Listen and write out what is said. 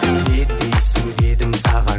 не дейсің дедім саған